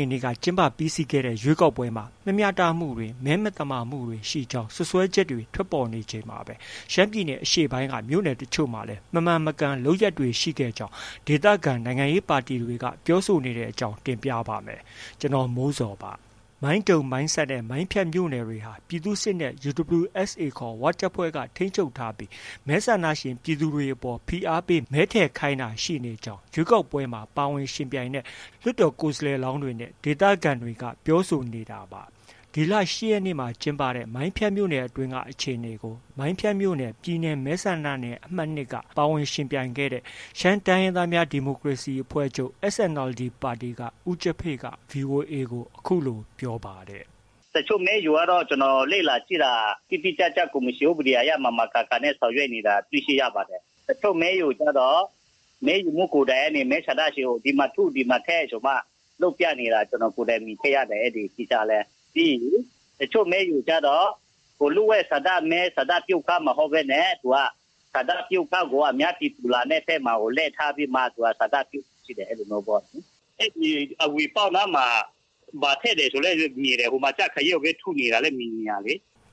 ေနေ့က ကျင်းပပြီးစီးခဲ့တဲ့ ရွေးကောက်ပွဲမှာ မမျှတမှုတွေနဲ့ မဲမသမာမှုတွေ ရှိခဲ့ကြောင်း စွပ်စွဲချက်တွေ ထွက်ပေါ်နေချိန်မှာပဲ ရှမ်းပြည်နယ် အရှေ့ပိုင်းက မြို့နယ်တချို့မှာလည်း မမှန်မကန်လုပ်ရပ်တွေ ရှိခဲ့ကြောင်း ဒေသခံနိုင်ငံရေး ပါတီတွေ ပြောဆိုနေတဲ့အကြောင်း တင်ပြပါမယ်။ ဗွီအိုအေမြန်မာပိုင်းသတင်းထောက် ကိုမိုးဇော်က သတင်းပေးပို့ထားပါတယ်။ မိုင်းတုံ၊ မိုင်းဆတ်နဲ့ မိုင်းဖြတ်မြို့နယ်တွေဟာ ပြည်သူ့စစ်နဲ့ UWSA ခေါ် ၀ တပ်ဖွဲ့က ထိန်းချုပ်ထားပြီး မဲဆန္ဒရှင် ပြည်သူတွေအပေါ် ဖိအားပေး မဲထည့်ခိုင်းတာတွေ ရှိနေကြောင်း ရွေးကောက်ပွဲမှာ ပါဝင်ယှဉ်ပြိုင်ခဲ့တဲ့ လွှတ်တော်ကိုယ်စားလှယ်လောင်းတွေက ပြောဆိုနေတာပါ။ ဒီလ ၈ ရက်နေ့မှာ ကျင်းပတဲ့ မိုင်းဖြတ်မြို့နယ်အတွင်းကအခြေအနေကို မိုင်းဖြတ်မြို့နယ် ပြည်နယ်မဲဆန္ဒနယ် အမှတ် ၂ က ပါဝင်ယှဉ်ပြိုင်ခဲ့တဲ့ ရှမ်းတိုင်းရင်းသားများ ဒီမိုကရေစီအဖွဲ့ချုပ် SNLD က ဦးကျဖေ့က VOA ကို အခုလို ပြောပါတယ်။ “တချို့မဲရုံကတော့ ကျနော်လေ့လာကြည့်တာ တိတိကျကျ ကော်မရှင်ဥပဒေအရ မှန်မှန်ကန်ကန် ဆောင်ရွက်နေတာ တွေ့ရှိရပါတယ်။ တချို့ မဲရုံကျတော့ မဲရုံမှူးကိုယ်တိုင်က မဲဆန္ဒရှင်ကို ဒီမှာထု ဒီမှာထည့်ဆိုပြီးမှ လုပ်ပြနေတာ ကျနော်ကိုယ်တိုင်မြင်တွေ့ရတယ်။ ပြီးရင် တချို့ မဲရုံကျတော့ လျှို့ဝှက်ဆန္ဒမဲ ဆန္ဒပြုခန်းမဟုတ်ဘဲနဲ့ ဆန္ဒပြုခန်းကို အများပြည်သူလာတဲ့ဘက်မှာကို လှည့်ထားပြီးတော့ ဆန္ဒပြုခိုင်းတယ် အဲဒီလိုမျိုးပေါ့။”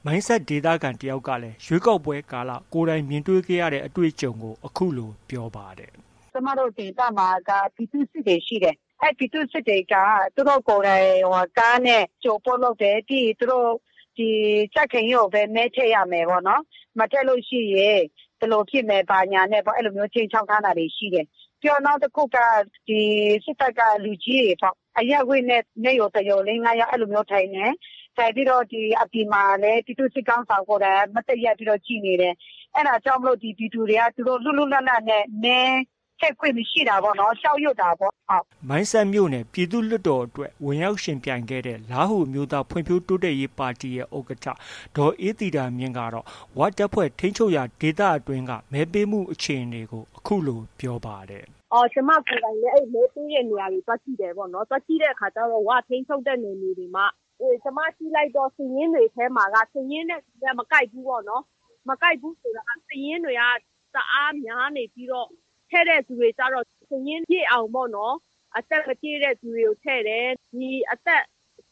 မိုင်းဆတ်ဒေသခံ တစ်ယောက်ကလည်း ရွေးကောက်ပွဲကာလ ကိုယ်တိုင်မြင်ခဲ့ရတဲ့ အတွေ့အကြုံကို အခုလို ပြောပါတယ်။ “ကျမတို့ ဒေသမှာက ပြည်သူ့စစ်တွေ ရှိတယ်။ အဲဒီပြည်သူ့စစ်တွေက သူတို့ကိုယ်တိုင် ကားနဲ့ အကြိုအပို့လုပ်တယ်။ ပြီးရင် သူတို့ ကြံ့ခိုင်ရေးကိုပဲ မဲထည့်ရမယ်ပေါ့နော်။ မထည့်လို့ရှိရင် ဘယ်လိုဖြစ်မယ်၊ ဘာညာနဲ့ အဲဒီလိုမျိုးခြိမ်းခြောက်ထားတာတွေ ရှိတယ်။ ပြီးနောက်တစ်ခုက စစ်တပ်က လူကြီးတွေပေါ့။ အဲဒီ အရပ်ဝတ်နဲ့ မဲရုံ တစ်ရုံ လေး၊ ငါးယောက် အဲဒီလိုမျိုးထိုင်တယ်။ ထိုင်ပြီးတော့ အပြင်မှာလည်း ပြည်သူစစ်ခေါင်းဆောင်က မတ်တပ်ရပ်ပြီး ကြည့်နေတယ်။ အဲဒါကြောင့်မို့ ပြည်သူတွေက လွတ်လွတ်လပ်လပ်နဲ့ မဲထည့်ခွင့်မရှိတာပေါ့။ အဲဒီ ကြောက်ရွံ့တာပေါ့။” မိုင်းဆတ်မြို့နယ် ပြည်သူ့လွှတ်တော်မှာ ဝင်ရောက်ယှဉ်ပြိုင်ခဲ့တဲ့ လားဟူအမျိုးသားဖွံ့ဖြိုးတိုးတက်ရေး ပါတီရဲ့ ဥက္ကဋ္ဌ ဒေါ်အေးသီတာမြင့်ကတော့ ဝတပ်ဖွဲ့ ထိန်းချုပ်ရာဒေသအတွင်းက မဲပေးမှုအခြေအနေကို အခုလို ပြောပါတယ်။ “ကျမကိုယ်တိုင်လည်း အဲဒီမဲပေးတဲ့နေရာတွေ သွားကြည့်တဲ့အခါကျတော့ အဲဒီ ၀ ထိန်းချုပ်တဲ့နယ်မြေတွေမှာ ကျမကြည့်လိုက်တော့ စာရင်းတွေထဲမှာက စာရင်းနဲ့ လူနဲ့ မကိုက်ဘူးပေါ့နော်။ မကိုက်ဘူးဆိုတာက စာရင်းတွေက တအားများနေပြီးတော့ ထည့်တဲ့သူတွေကျတော့ စာရင်းပြည့်အောင်ပေါ့နော် အသက်မပြည့်တဲ့သူတွေကို ထည့်တယ်။ ဒီ အသက်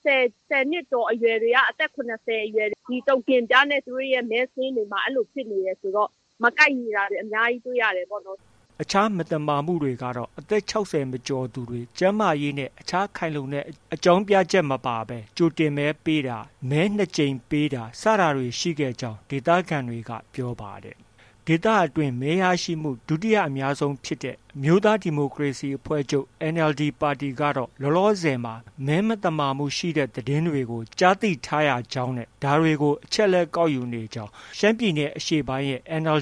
၁၀ နှစ်ကျော်အရွယ်တွေက အသက် ၇၀ ကျော်အရွယ် ဒီတိုကင်ပြားနဲ့ သူတို့ရဲ့ မဲစာရင်းတွေမှာ အဲဒီလိုဖြစ်နေတယ်ဆိုတော့ မကိုက်ညီတာတွေ အများကြီးတွေ့ရတယ်ပေါ့နော်။” အခြား မသမာမှုတွေကတော့ အသက် ၆၀ မကျော်သူတွေ၊ ကျန်းမာရေးနဲ့ အခြားခိုင်လုံတဲ့ အကြောင်းပြချက်မပါဘဲ မဲပေးသူတွေ၊ မဲနှစ်ကြိမ်ပေးသူတွေ ရှိကြောင်းလည်း ဒီဒေသခံတွေက ပြောပါတယ်။ ဒီဒေသအတွင်း မဲရရှိမှု ဒုတိယအများဆုံးဖြစ်တဲ့ NLD အမျိုးသားဒီမိုကရေစီအဖွဲ့ချုပ်ပါတီကတော့ လောလောဆယ်မှာ မဲမသမာမှုရှိတဲ့ သတင်းတွေ ကြားသိထားရကြောင်းနဲ့ ဒါတွေကို အချက်အလက် ကောက်ယူနေကြောင်း ရှမ်းပြည်နယ်အရှေ့ပိုင်းရဲ့ ဥက္ကဋ္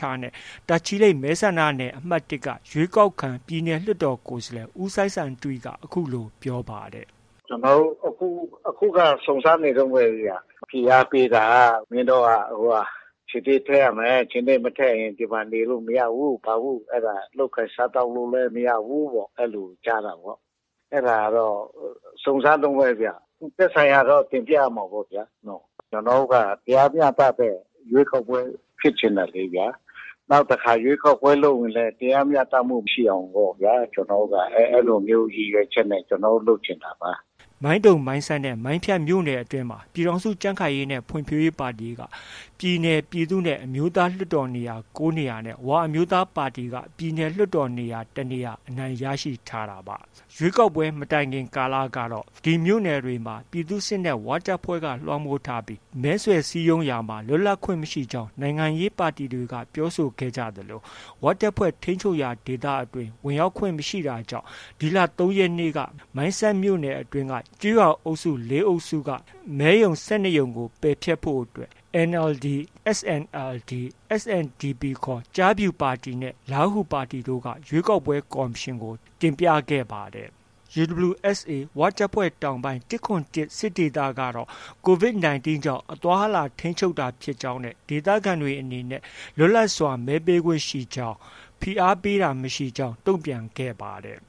ဌ နဲ့ တာချီလိတ် မဲဆန္ဒနယ်အမှတ် ၁က ရွေးကောက်ခံ ပြည်နယ်လွှတ်တော်ကိုယ်စားလှယ် ဦးစိုင်းဆိုင်တွီက ပြောပါတယ်။ “ကျနော်တို့ အခုက စုံစမ်းနေတုန်းပဲဗျ။ ဖိအားပေးတာ မင်းတို့က ခြင်္သေ့ထည့်ရမယ်။ ခြင်္သေ့မထည့်ရင် ဒီမှာ နေလို့ မရဘူး၊ ဘာဘူး၊ အဲဒါ လုပ်ကိုင်စားသောက်လို့လည်း မရဘူး။ အဲလိုကြားတာပေါ့။ အဲဒါကတော့ စုံစမ်းတုန်းပဲဗျ။ သက်ဆိုင်ရာကတော့ တင်ပြရမှာပေါ့။ ကျနော်တို့ တရားမျှတတဲ့ ရွေးကောက်ပွဲဖြစ်ချင်တယ်လေဗျာ။ နောက်တစ်ခါ ရွေးကောက်ပွဲလုပ်ရင်လည်း တရားမျှတမှုရှိအောင်ပေါ့ဗျာ။ ကျနော်တို့က အဲဒီလိုမျိုးရည်ရွယ်ချက်နဲ့ ကျနော်တို့ လုပ်ချင်တာပါ။” မိုင်းတုံ၊ မိုင်းဆတ်နဲ့ မိုင်းဖြတ်မြို့နယ်မှာ ပြည်ထောင်စုကြံ့ခိုင်ရေးနဲ့ ဖွံ့ဖြိုးရေးပါတီက ပြည်နယ်၊ ပြည်သူ့နဲ့ အမျိုးသား လွှတ်တော် နေရာ ၉ နေရာနဲ့ ဝအမျိုးသားပါတီက ပြည်နယ်လွှတ်တော် ၁ နေရာအနိုင်ရရှိထားတာပါ။ ဒီမြို့နယ်တွေမှာ ပြည်သူ့စစ်နဲ့ ဝတပ်ဖွဲ့တွေက လွှမ်းမိုးထားပြီး မဲဆွယ်စည်းရုံးရာမှာ လွတ်လပ်ခွင့်မရှိကြောင်း နိုင်ငံရေးပါတီတွေက ပြောဆိုထားကြသလို ၀ တပ်ဖွဲ့ထိန်းချုပ်ရာဒေသအတွင်း ဝင်ရောက်ခွင့်မပြုတာကြောင့် ဒီလ ၃ ရက်နေ့က မိုင်းဆတ်မြို့နယ် ကျေးရွာအုပ်စု ၄ စုအတွင်းက မဲရုံ ၁၂ ရုံကို ပယ်ဖျက်ဖို့ NLD ၊ SNLD ၊ SNDP ခေါ် ကျားဖြူပါတီနဲ့ လားဟူပါတီတို့က ရွေးကောက်ပွဲကော်မရှင်ထံကို တင်ပြခဲ့ပါတယ်။ UWSA တောင်ပိုင်း ၁၇၁ စစ်ဒေသကတော့ COVID 19 ကြောင့် အသွား၊ အလာထိန်းချုပ်တာဖြစ်ကြောင်းနဲ့ ဒေသခံတွေအနေနဲ့ လွတ်လပ်စွာမဲပေးခွင့်ရှိကြောင်း။ ဖိအားပေးတာမရှိကြောင်း တုံ့ပြန်ခဲ့ပါတယ်